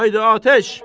Haydı atəş!